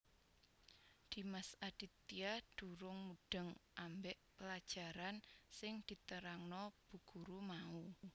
Dimas Aditya durung mudheng ambek pelajarang sing diterangno Bu Guru mau